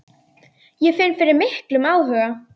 Ég finn fyrir miklum áhuga.